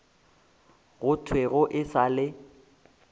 go thwego e sa le